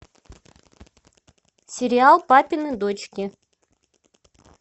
сериал папины дочки